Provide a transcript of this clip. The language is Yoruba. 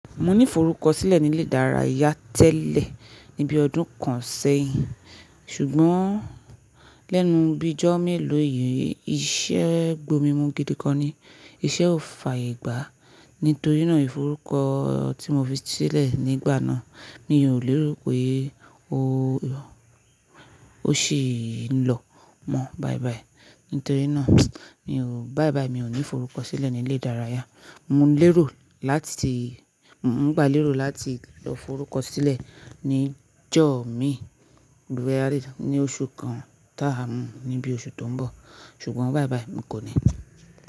Mo ní forúkọ sílẹ̀ nílé ìdárayá tẹ́lẹ̀ ní bíi ọdún kan sẹ́yìn, ṣùgbọ́n lẹ́nu bí ọjọ́ mélòó yìí iṣẹ́ gbomi mu gidi gan ni, iṣẹ́ ò fa ye gbà. Nítorí náà, ìforúkọ tí mo fi sílẹ̀ nígbà náà mi mi ò lérò pé ó sì ń lọ mọ́ báyìíbáyìí. Nítorí náà ni báiibáii mi ò ní forúkọ sílẹ̀ nílé ìdárayá. Mo ń lérò láti, mo ń gbà lérò láti lọ forúkọ sílẹ̀ ní jọ̀ mi, ní oṣù kan táa ni bí oṣù tó ń bọ̀. Ṣùgbọ́n báiibáii mi kò ní.